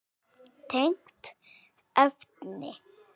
Tengt efni